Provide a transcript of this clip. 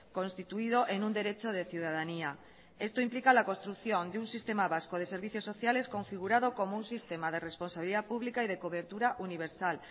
constituido en un derecho de ciudadanía esto implica la construcción de un sistema vasco de servicios sociales configurado como un sistema de responsabilidad pública y de cobertura universal